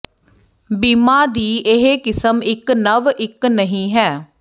ਬੀਮਾ ਦੀ ਇਹ ਕਿਸਮ ਇੱਕ ਨਵ ਇੱਕ ਨਹੀ ਹੈ